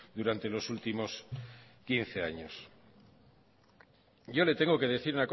durante los últimos quince años yo le tengo que decir